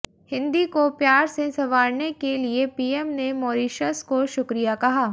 हिंदी को प्यार से संवारने के लिए पीएम ने मॉरीशस को शुक्रिया कहा